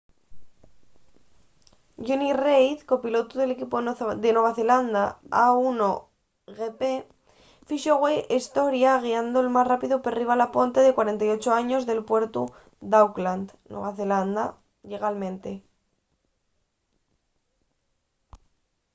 jonny reid copilotu del equipu de nueva zelanda a1gp fixo güei historia guiando’l más rápidu perriba la ponte de 48 años del puertu d’auckland nueva zelanda llegalmente